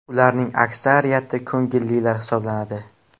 Ularning aksariyati ko‘ngillilar hisoblanadi.